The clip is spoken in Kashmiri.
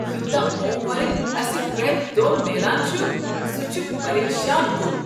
یوتاہ ہوم ورک اسہ پرٛیتھ دۄہ میلان چھ سہ چھ پریشان کُن۔